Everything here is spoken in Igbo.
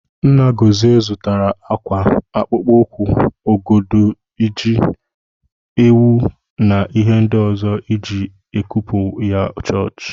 Nna Gọzie zụtara ákwà, akpụkpọ ụkwụ, ọgọdọ, ji, ewu na ihe ndị ọzọ eji ekupu ya chọọchị.